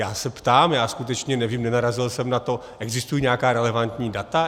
Já se ptám, já skutečně nevím, nenarazil jsem na to - existují nějaká relevantní data?